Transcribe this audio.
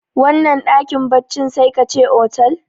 wannan dakin baccin sai ka ce otal